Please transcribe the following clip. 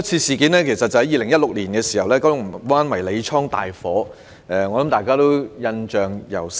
事源是2016年發生的九龍灣迷你倉大火，大家或許仍然印象猶深。